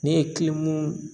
Ne ye